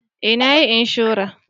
Eh na yi inshora